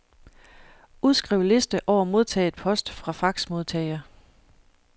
Udskriv liste over modtaget post fra faxmodtager.